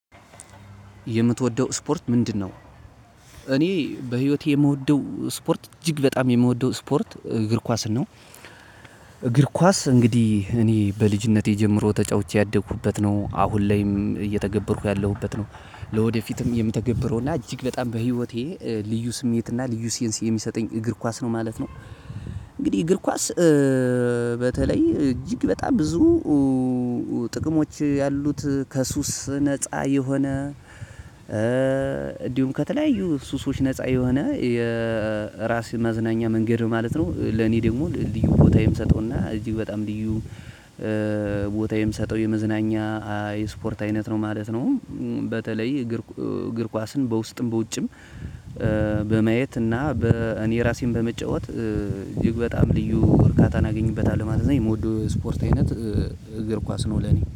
የምትወደው ስፖርት ምንድነው? እኔ በህይወቴ የምወደው ስፖርት እጅግ በጣም የምወደው ስፖርት እግር ኳስ ነው እግር ኳስ እንግዲህ እኔ በልጅነቴ ጀምሮ ተጫውቼ ያደኩበት ነው። አሁን ላይም እየተገበርኩ ያለሁበት ነው። ለወደፊትም የምተገበረው እና እጅግ በጣም በህይወቴ ልዩ ስሜት እና ልዩ ሴንስ የሚሰጠኝ እግር ኳስ ነው ማለት ነው እንግዲህ እግር ኳስ በተለይ እጅግ በጣም ብዙ ጥቅሞች ያሉት ከሱስ ነፃ የሆነ፣ እንዲሁም ከተለያዩ ሱሶች ነፃ የሆነ የራስ መዝናኛ መንገድ ማለት ነው ለኔ ደግሞ ልዩ ቦታ የምሰጠውና እጅግ በጣም ልዩ ቦታ የምሰጠው የመዝናኛ የስፖርት አይነት ነው ማለት ነው በተለይ እግር እግር ኳስን በውስጥም በውጭም በመየት እና በ እኔ ራሴን በመጫወት ይግብ በጣም ልዩ እርካታን አገኝበታለሁ ማለት ነው የምወደው ስፖርት አይነት እግር ኳስ ነው ለኔ